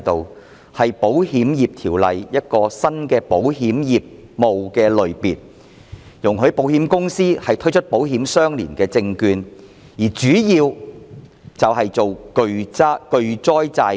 這是《保險業條例》下的新保險業務類別，容許保險公司發行保險相連證券，特別是巨災債券。